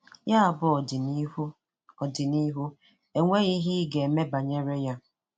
Yà bụ ọdị̀nị̀hù, ọdị̀nị̀hù, enweghi ihe ị̀ ga-eme banyere ya.